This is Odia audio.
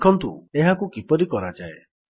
ଦେଖନ୍ତୁ ଏହାକୁ କିପରି କରାଯାଏ